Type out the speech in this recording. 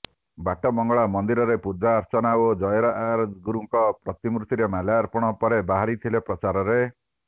ବାଟ ମଙ୍ଗଳା ମନ୍ଦିରରେ ପୂଜାର୍ଚ୍ଚନା ଓ ଜୟରାଜଗୁରୁଙ୍କ ପ୍ରତିମୂର୍ତିରେ ମାଲ୍ୟାର୍ପଣ ପରେ ବାହାରିଥିଲେ ପ୍ରଚାରରେ